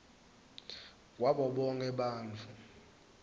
kwabo bonkhe bantfu